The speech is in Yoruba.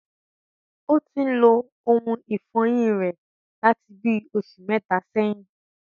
Ó tin ń lo ohun ìfọyín rẹ̀ láti bí oṣù mẹ́ta ẹyìn